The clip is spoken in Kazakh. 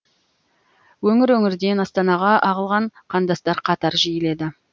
өңір өңірден астанаға ағылған қандастар қатары жиіледі